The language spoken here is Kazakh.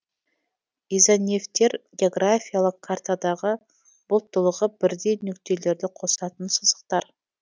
изонефтер географиялык картадағы бұлттылығы бірдей нүктелерді қосатын сызықтар